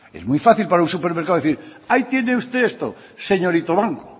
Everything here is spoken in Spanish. es muy fácil para un supermercado decir hay tiene usted esto señorito banco